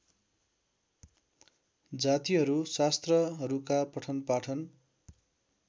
जातिहरू शास्त्रहरूका पठनपाठन